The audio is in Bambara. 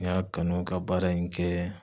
N y'a kanu ka baara in kɛ